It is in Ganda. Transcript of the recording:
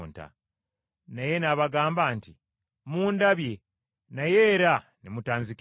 Naye nabagamba nti mundabye naye era ne mutanzikiriza.